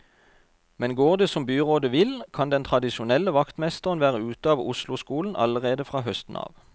Men går det som byrådet vil, kan den tradisjonelle vaktmesteren være ute av osloskolen allerede fra høsten av.